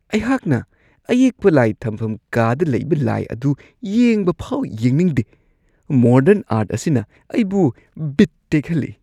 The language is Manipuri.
ꯑꯩꯍꯥꯛꯅ ꯑꯌꯦꯛꯄ ꯂꯥꯏ ꯊꯝꯐꯝ ꯀꯥꯗ ꯂꯩꯕ ꯂꯥꯏ ꯑꯗꯨ ꯌꯦꯡꯕ ꯐꯥꯎ ꯌꯦꯡꯅꯤꯡꯗꯦ ; ꯃꯣꯗꯔꯟ ꯑꯥꯔꯠ ꯑꯁꯤꯅ ꯑꯩꯕꯨ ꯕꯤꯠ ꯇꯦꯛꯍꯜꯂꯤ ꯫